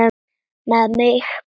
Með mig?